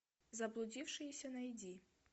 заблудившиеся найди